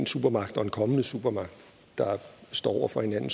supermagt og en kommende supermagt der står over for hinanden